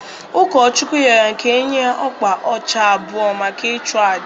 Ụkọchukwu rịọrọ ka e nye ya ọkpa ọcha abụọ maka ịchụ àjà